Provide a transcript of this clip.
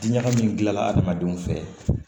Ɲagami gilan adamadenw fɛ